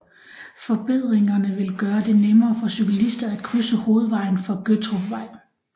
Forbedringerne vil gøre det nemmere for cyklister at krydse hovedvejen fra Gøttrupvej